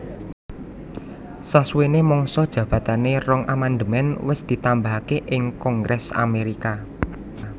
Sasuwené mangsa jabatané rong amandemèn wes ditambahaké ing kongrès Amérika